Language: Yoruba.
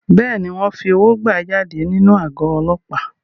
Bẹ́ẹ̀ni, wọ́n fi owó gbà á jáde nínú àgọ́ Ọlọ́pàá.